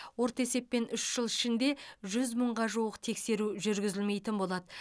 орта есеппен үш жыл ішінде жүз мыңға жуық тексеру жүргізілмейтін болады